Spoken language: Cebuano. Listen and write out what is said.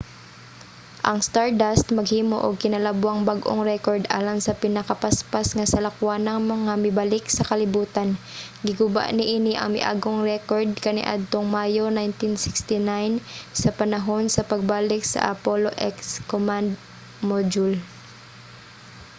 ang stardust maghimo og kinalabwang bag-ong rekord alang sa pinakapaspas nga salakwanang nga mibalik sa kalibutan giguba niini ang miaging rekord kaniadtong mayo 1969 sa panahon sa pagbalik sa apollo x command module